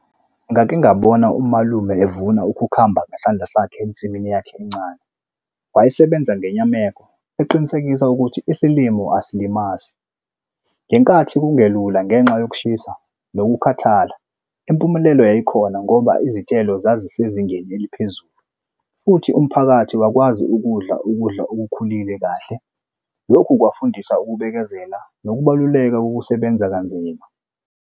Ngake ngabona umalume evuna ukhukhamba ngesandla sakhe ensimini yakhe encane. Wayesebenza ngenyameko, eqinisekisa ukuthi isilimo asilimazi. Ngenkathi kungelula ngenxa yokushisa nokukhathala, impumelelo yayikhona ngoba izithelo zazisezingeni eliphezulu, futhi umphakathi wakwazi ukudla ukudla okukhulile kahle. Lokhu kwafundisa ukubekezela nokubaluleka kokusebenza kanzima.